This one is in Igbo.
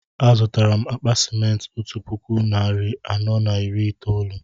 Azutara m akpa simenti otú puku narị anọ na iri itoolu